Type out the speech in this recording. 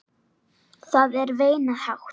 Það er veinað hátt.